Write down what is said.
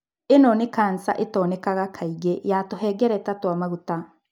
Ĩno nĩ kanca ĩtonekaga kaingĩ ya tũhengereta twa maguta.